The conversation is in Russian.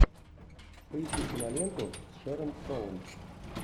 поищи киноленту с шэрон стоун